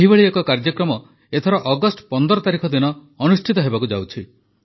ଏହିଭଳି ଏକ କାର୍ଯ୍ୟକ୍ରମ ଏଥର ଅଗଷ୍ଟ ୧୫ ତାରିଖ ଦିନ ଅନୁଷ୍ଠିତ ହେବାକୁ ଯାଉଛି